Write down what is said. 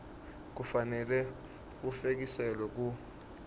kufanele bufekiselwe ku